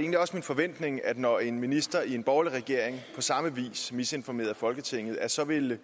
egentlig også min forventning at når en minister i en borgerlig regering på samme vis misinformerede folketinget så ville